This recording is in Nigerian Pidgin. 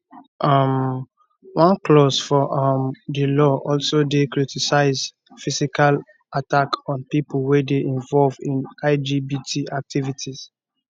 um one clause for um di law also dey criminalize physical attack on pipo wey dey involve in lgbt activities